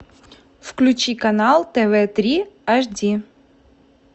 включи канал тв три ашди